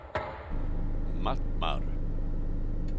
Mattmar